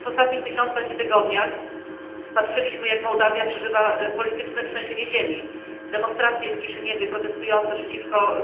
W ostatnich miesiącach i tygodniach patrzyliśmy, jak Mołdawia przeżywa polityczne trzęsienie ziemi, demonstracje w Kiszyniowie protestujące przeciwko